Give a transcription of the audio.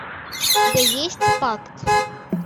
у тебя есть пакт